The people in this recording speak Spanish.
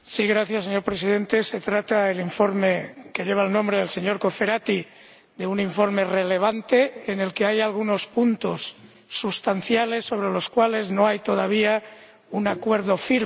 Señor Presidente, el informe que lleva el nombre del señor Cofferati es un informe relevante en el que hay algunos puntos sustanciales sobre los cuales no hay todavía un acuerdo firme.